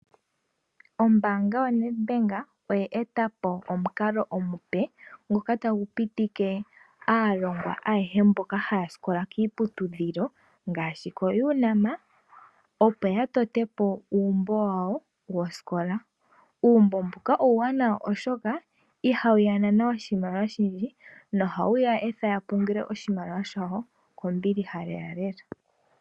Ombaanga yo NedBank oya eta po omukalo omupe mgoka tagu pitike aalongwa ayehe mboka haya sikola kiiputudhilo ngaashi koUNAM, opo ya tote po uumbo wawo wosikola. Uumbo mbuka uuwanawa oshoka ihawu ya nana oshimaliwa oshindji no hawu ya etha ya pungule oshimaliwa shawo kombiliha lelalela.